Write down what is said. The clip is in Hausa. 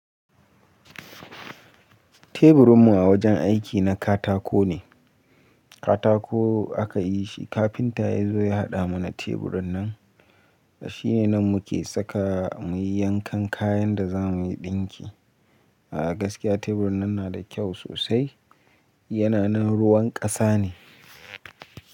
Teburinmu a wajen aiki na katako ne. Katako aka yi shi. Kafinta ya zo ya haɗa mana teburin nan. Shi ne nan muke saka muyi yankan kayan da za muyi ɗinki. A'a gaskiya teburin nan na da kyau sosai. Yana nan ruwan ƙasa ne.